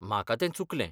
म्हाका तें चुकलें.